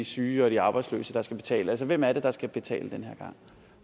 syge og de arbejdsløse der skal betale altså hvem er det der skal betale den her gang